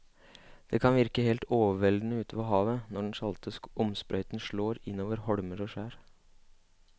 Det kan virke helt overveldende ute ved havet når den salte skumsprøyten slår innover holmer og skjær.